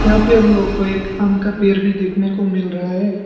यहां पे हम लोग को एक आम का पेड़ भी देखने को मिल रहा है।